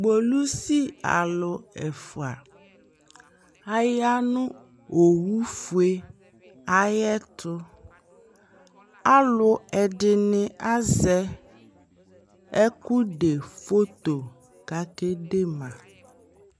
polisi alʋɛƒʋa ayanʋ ɔwʋ ƒʋɛ ayɛtʋ, alʋ ɛdini azɛ ɛkʋ dɛ phɔtɔ kʋ akɛ dɛma